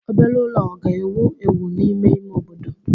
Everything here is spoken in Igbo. Obere ụlọ ọ ga-ewu ewu n'ime ime obodo?